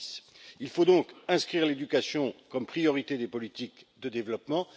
2010. Il faut donc inscrire l'éducation comme priorité des politiques de développement.